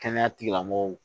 Kɛnɛya tigilamɔgɔw